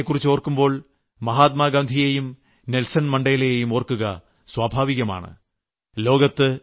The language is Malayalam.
ദക്ഷിണാഫ്രിക്കയെക്കുറിച്ചോർക്കുമ്പോൾ മഹാത്മാഗാന്ധിയേയും നെൽസൺ മണ്ഡേലയെയും ഓർക്കുക സ്വാഭാവികമാണ്